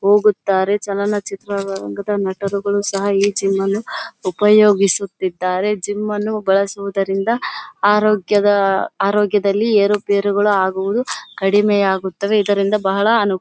ಹೋಗುತ್ತಾರೆ ಚಲನಚಿತ್ರ ರಂಗದ ನಟರುಗಳು ಸಹ ಈ ಜಿಮ್ ಅನ್ನ ಉಪಯೋಗಿಸುತ್ತಿದ್ದಾರೆ ಜಿಮ್ ಅನ್ನು ಬಳಸುದರಿಂದ ಆರೋಗ್ಯದಲ್ಲಿ ಏರು ಪೆರು ಅಗುದು ಕಡಿಮೆ ಆಗುತ್ತದೆ ಇದರಿಂದ ಬಹಳ ಅನು --